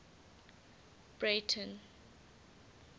breyten